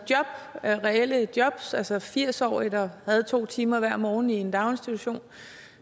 reelle jobs altså firs årige der havde to timer hver morgen i en daginstitution